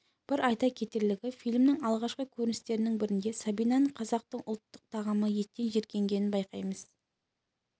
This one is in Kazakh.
бір айта кетерлігі фильмнің алғашқы көріністерінің бірінде сабинаның қазақтың ұлттық тағамы еттен жиіркенгенін байқаймыз